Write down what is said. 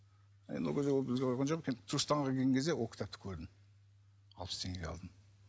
енді ол кезде ол бізде болған жоқ енді түркістанға келген кезде ол кітапті көрдім алпыс теңгеге алдым